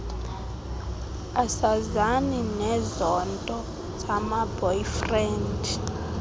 asazani nezonto zamaboyfriend